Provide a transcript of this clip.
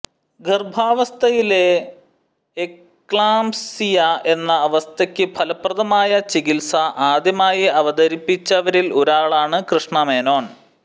ഗർഭാവസ്ഥയിലെ eclampsia എന്ന അവസ്ഥയ്ക്ക് ഫലപ്രദമായ ചികിത്സ ആദ്യമായി അവതരിപ്പിച്ചവരിൽ ഒരാളാണ് കൃഷ്ണ മേനോൻ